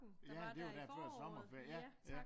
Ja det var jo der før sommerferien